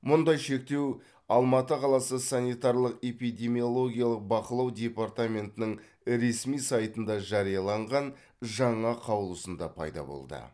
мұндай шектеу алматы қаласы санитарлық эпидемиологиялық бақылау департаментінің ресми сайтында жарияланған жаңа қаулысында пайда болды